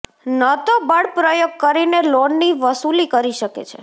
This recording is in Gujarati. ન તો બળપ્રયોગ કરીને લોનની વસૂલી કરી શકે છે